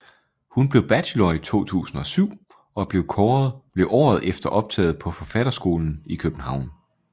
Hun blev bachelor i 2007 og blev året efter optaget på Forfatterskolen i København